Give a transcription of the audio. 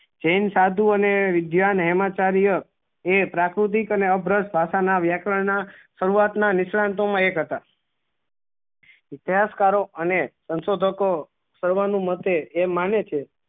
જેન સાધુ અને વિજ્ઞાન એ એમાં સારી અ એ પ્રાકૃતિક અને ભાષા ના વ્યાકરણ ના શરૂઆત ના નીશ્રંતો માં એક હતા ત્યાજ કારો અને સંસો ધકો શરુવાનું મતે એ માને છે